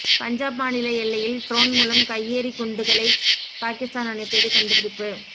பஞ்சாப் மாநில எல்லையில் ட்ரோன் மூலம் கையெறி குண்டுகளை பாகிஸ்தான் அனுப்பியது கண்டுபிடிப்பு